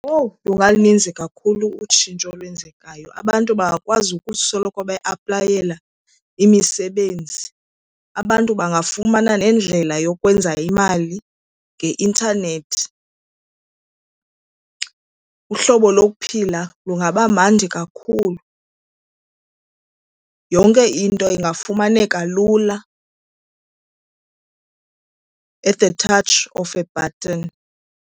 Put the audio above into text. Owu lungalininzi kakhulu utshintsho olwenzekayo. Abantu bangakwazi ukusoloko beaplayela imisebenzi, abantu bangafumana nendlela yokwenza imali ngeintanethi. Uhlobo lokuphila lungaba mandi kakhulu. Yonke into ingafumaneka lula, at the touch of a button.